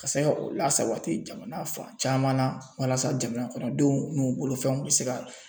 Ka se ka o lasabati jamana fan caman na walasa jamana kɔnɔdenw n'u bolofɛnw bɛ se ka